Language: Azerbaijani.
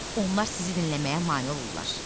Onlar sizi dinləməyə mane olurlar.